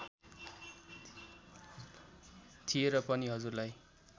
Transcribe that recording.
थिए र पनि हजुरलाई